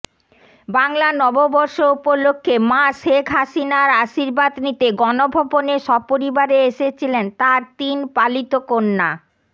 বাংলা নববর্ষ উপলক্ষে মা শেখ হাসিনার আশীর্বাদ নিতে গণভবনে সপরিবারে এসেছিলেন তাঁর তিন পালিত কন্যা